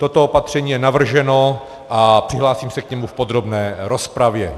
Toto opatření je navrženo a přihlásím se k němu v podrobné rozpravě.